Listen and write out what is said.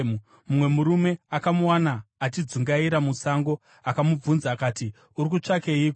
mumwe murume akamuwana achidzungaira musango akamubvunza akati, “Uri kutsvakeiko?”